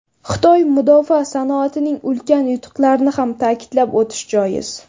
Xitoy mudofaa sanoatining ulkan yutuqlarini ham ta’kidlab o‘tish joiz.